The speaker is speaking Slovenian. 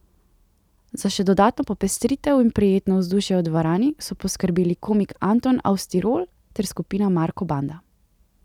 Za še dodatno popestritev in prijetno vzdušje v dvorani so poskrbeli komik Anton aus Tirol ter skupina Marko banda.